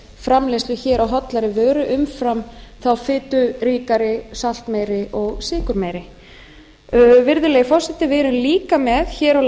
framleiðslu hér á hollari vöru umfram þá fituríkari saltmeiri ég sykurmeiri virðulegi forseti við erum líka með hér á